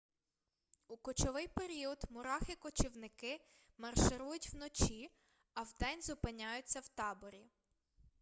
у кочовий період мурахи-кочівники марширують вночі а вдень зупиняються у таборі